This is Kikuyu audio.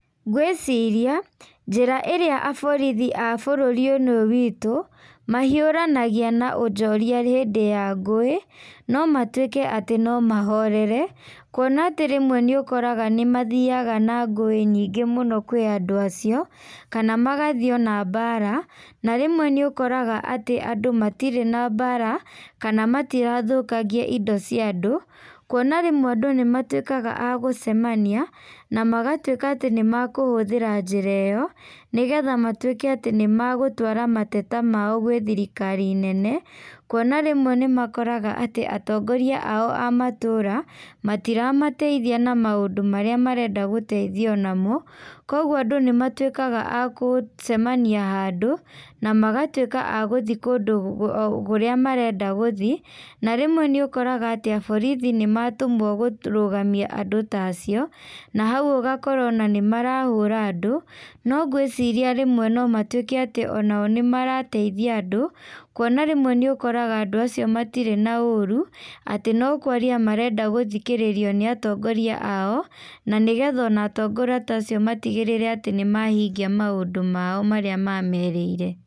Ngwĩciria, njĩra ĩrĩa aborithi a bũrũri ĩno witũ, mahiũranagia na onjoria hindĩ ya nguĩ, no matuĩke atĩ nomahorere, kuona atĩ rĩmwe nĩũkoraga nĩmathiaga na ngũĩ nyingĩ mũno kwĩ andũ acio, kana magathiĩ ona mbara na rĩmwe nĩũkoraga atĩ andũ matirĩ na mbara, kana matirathũkangia indo cia andũ, kuona rĩmwe andũ nĩmatuĩkaga a gũcemania, na magatuĩka atĩ nĩmakũhũthĩra njĩra ĩyo, nĩgetha matuĩke atĩ nĩmagũtwara mateta mao gwĩ thirikari nene, kuona rĩmwe nĩmakoraga atĩ atongoria ao a matũra, matira mateithia na maũndũ marĩa marenda gũteithio namo, koguo andũ nĩmatuĩkaga a gũcemania handũ, namagatuĩka a gũthiĩ kũndũ o kũrĩa marenda gũthiĩ, na rĩmwe nĩũkoraga atĩa borithi nĩmatũmwo kũrugamia andũ ta acio, na hau ũgakora ona nĩmarahũra andũ, no ngwĩciria rĩmwe no matuĩke atĩ onao nĩmarĩteithia andũ, kuona rĩmwe nĩũkoraga andũ acio matirĩ na ũru, atĩ no kwaria marenda gũthikĩrĩrio nĩ atongoria ao, na nĩgetha ona atongoria ta acio matigĩrĩre atĩ nĩmahingia maũndũ mao marĩa mamerĩire.